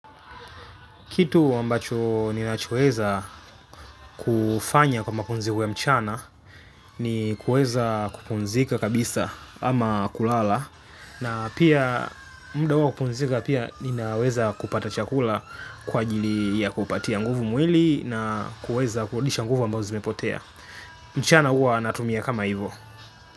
Kitu ambacho ninaweza kufanya kwa mapumzikon ya mchana ni kuweza kupumzika kabisa ama kulala. Na pia muda huu wa kupumzika pia ninaweza kupata chakula kwa ajili ya kupatia nguvu mwili na kuweza kurudisha nguvu ambazo zimepotea. Mchana uwa natumia kama hivyo.